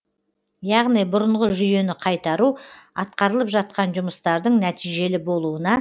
яғни бұрынғы жүйені қайтару атқарылып жатқан жұмыстардың нәтижелі болуына